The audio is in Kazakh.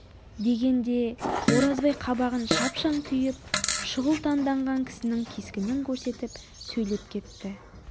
дегенде оразбай қабағын шапшаң түйіп шұғыл танданған кісінің кескінін көрсетіп сөйлеп кетті